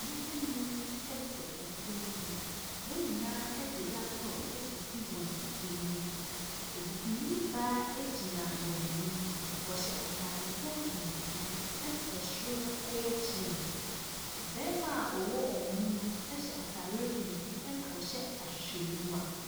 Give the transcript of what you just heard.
Nipa ɛnum ɛte ɛpon ho, wɔn nyinaa edi laptɔp esisi wɔn anim. Obibini baa egyina wɔn anim. Wɔ hyɛ atar fɔm tumtum ena ɛ soro no yɛ gyins. Ɔbɛɛma a ɔwɔ ɔmmu no ɛhyɛ ataareɛ tuntum ena ɔhyɛ ahwehwɛenyiwa.